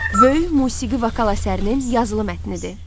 Böyük musiqi vokal əsərinin yazılı mətnidir.